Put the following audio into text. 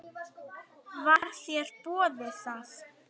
Var þér boðið það?